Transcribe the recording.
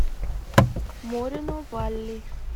морено валли